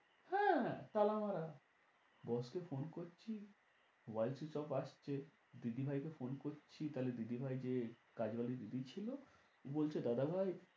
হ্যাঁ তালা মারা boss কে phone করছি mobile switch off আসছে। দিদি ভাইকে কে phone করছি তাহলে দিদি ভাই যে কাজ বাড়ির দিদি ছিল বলছে দাদা ভাই